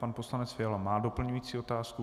Pan poslanec Fiala má doplňující otázku.